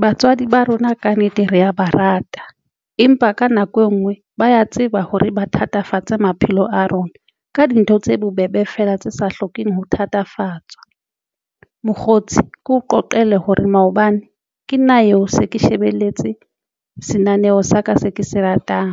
Batswadi ba rona kannete re ya ba rata, empa ka nako e ngwe ba ya tseba hore ba thatafatsang maphelo a rona ka dintho tse bobebe fela tse sa hlokeng ho thatafatsa mokgotsi keo qoqele hore maobane ke nna eo se ke shebelletse se naneho sa ka se ke se ratang,